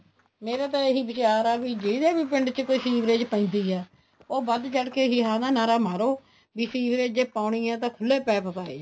ਮੇਰਾ ਤਾਂ ਇਹ ਹੀ ਵਿਚਾਰ ਆ ਵੀ ਜਿਹਦੇ ਵੀ ਪਿੰਡ ਚ ਕੋਈ ਸੀਵਰੇਜ ਪੈਂਦੀ ਹੈ ਉਹ ਵੱਧ ਚੜਕੇ ਹਾਂ ਦਾ ਨਾਰਾ ਮਾਰੋ ਵੀ ਸੀਵਰੇਜ ਜ਼ੇ ਪਾਉਣੀ ਆ ਤਾਂ ਖੁੱਲੇ ਪੈਪ ਪਾਏ ਜਾਣ